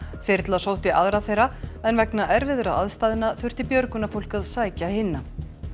þyrla sótti aðra þeirra en vegna erfiðra aðstæðna þurfti björgunarfólk að sækja hina